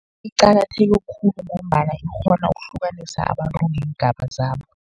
Iqakatheke khulu, ngombana ikghona ukuhlukanisa abantu ngeengaba zabo.